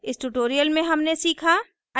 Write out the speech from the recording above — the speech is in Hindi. इस tutorial में हमने सीखा